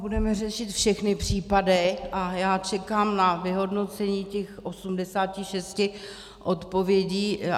Budeme řešit všechny případy a já čekám na vyhodnocení těch 86 odpovědí.